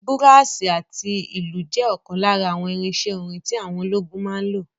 Búràsì àti ìlù jẹ́ ọ̀kan lára àwọn irinsẹ́ orin tí àwọn ológun máa ń lò